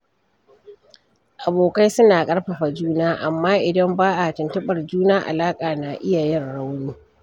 Abokai suna ƙarfafa juna, amma idan ba a tuntuɓar juna, alaƙa na iya yin rauni.